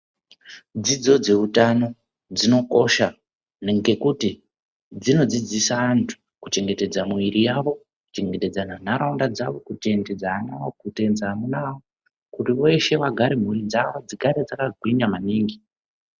Dzidzo dzehutano dzinokosha ngekuti dzinodzidzisa antu kuchengetedza muviri wavo kuchengetedza nharaunda dzavo Kuchengetedza amuna avo veshe dzigare mhuri yavo igare yakagwinya maningi.